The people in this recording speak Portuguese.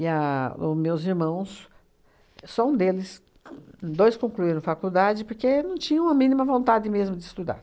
a o meus irmãos, só um deles, dois concluíram faculdade porque não tinham a mínima vontade mesmo de estudar.